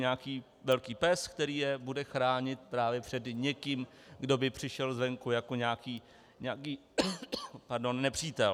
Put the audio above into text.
Nějaký velký pes, který je bude chránit právě před někým, kdo by přišel zvenku jako nějaký nepřítel.